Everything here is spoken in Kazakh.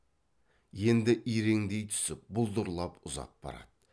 енді иреңдей түсіп бұлдырлап ұзап барады